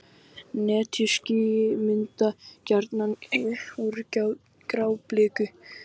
Netjuský myndast gjarnan úr grábliku sem er að leysast upp.